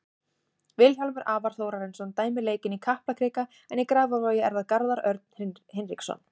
Vilhjálmur Alvar Þórarinsson dæmir leikinn í Kaplakrika en í Grafarvogi er það Garðar Örn Hinriksson.